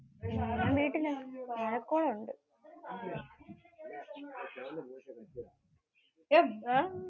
ഞാൻ വീട്ടിലാണ്. ഇവിടെ മഴക്കോള് ഉണ്ട്.